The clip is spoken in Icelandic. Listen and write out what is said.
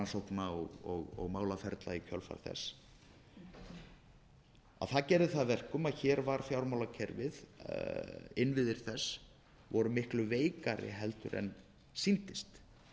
sakamálarannsókna og málaferla í kjölfar þess það gerði það að verkum að hér voru innviðir fjármálakerfisins miklu veikari heldur en sýndist